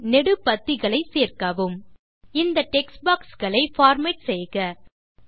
அதில் நெடு பத்திகளை சேர்க்கவும் இந்த டெக்ஸ்ட் பாக்ஸ் களை பார்மேட் செய்க